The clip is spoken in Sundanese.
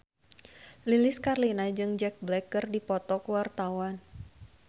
Lilis Karlina jeung Jack Black keur dipoto ku wartawan